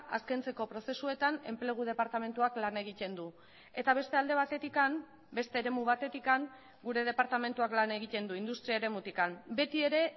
azkentzeko prozesuetan enplegu departamentuak lan egiten du eta beste alde batetik beste eremu batetik gure departamentuak lan egiten du industria eremutik beti ere